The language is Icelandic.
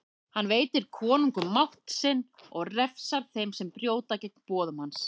Hann veitir konungum mátt sinn og refsar þeim sem brjóta gegn boðum hans.